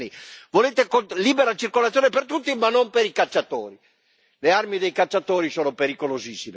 Le armi dei cacciatori sono pericolosissime, non quelle dei lupi solitari, non quelle dei jihadisti.